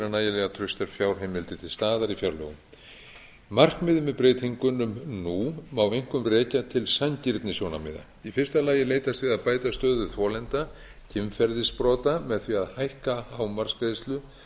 nægilega traustar fjárheimildir til staðar í fjárlögum markmiðið með breytingunum nú má einkum rekja til sanngirnissjónarmiða í fyrsta lagi er leitast við að bæta stöðu þolenda kynferðisbrota með því að hækka hámarksgreiðslu á